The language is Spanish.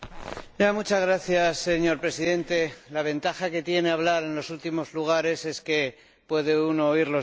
Señor Presidente, la ventaja que tiene hablar en los últimos lugares es que puede uno oír los discursos anteriores.